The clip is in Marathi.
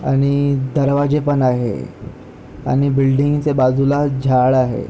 आणि दरवाजे पण आहे आणि बिल्डिंग च्या बाजूला झाड आहे.